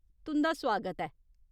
तुं'दा सुआगत ऐ !